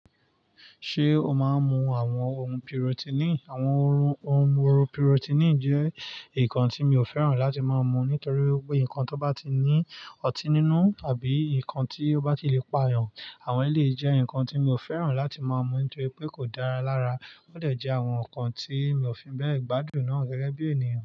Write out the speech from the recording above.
Ṣé o máa ń mu àwọn ohun purotinì? Àwọn ohun purotinì jẹ́ nǹkan tí mi ò fẹ́ràn láti máa mu nítorí pé ohun kan tó bá ti ní ọtí nínú tàbí nǹkan tí ó bá ti le pà yàn, àwọn eléyìí jẹ́ ohun kan tí mi ò fẹ́ràn láti máa mu nítorí pé kò dára lára. Ó dẹ̀ jẹ́ àwọn ohun kan tí mi ò fi bẹ́ẹ̀ gbádùn gẹ́gẹ́ bí ènìyàn.